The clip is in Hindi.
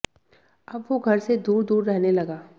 अब वो घर से दूर दूर रहने लगा